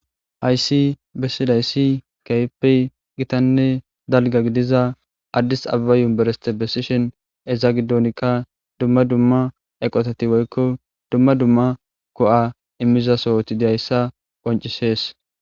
Hayssi bessidayssi keehipey gitanne dalga gidiza addisababa yumbersite besishin eza gidoonkka dumma dumma eqotati woykko dumma dumma ko7a immiza sohoti diyayssa qoncisees.